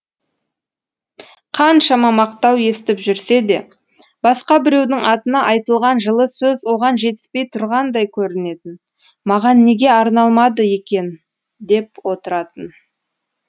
қаншама мақтау естіп жүрсе де басқа біреудің атына айтылған жылы сөз оған жетіспей тұрғандай көрінетін маған неге арналмады екен деп отыратын